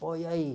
Pô, e aí?